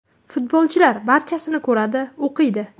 Futbolchilar barchasini ko‘radi, o‘qiydi.